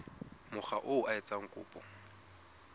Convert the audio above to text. mokga oo a etsang kopo